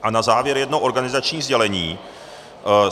A na závěr jedno organizační sdělení.